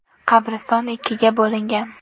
Qabriston ikkiga bo‘lingan.